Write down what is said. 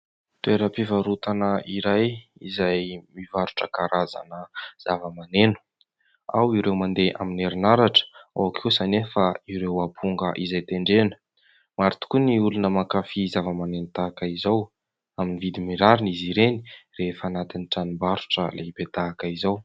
Toeram-pivarotana iray izay mivarotra karazana zavamaneno. Ao ireo mandeha amin'ny herin'aratra, ao kosa nefa ireo aponga izay tendrena. Maro tokoa ny olona mankafy zavamaneno tahaka izao. Amin'ny vidiny rariny izy ireny rehefa anatin'ny tranombarotra lehibe tahaka izao.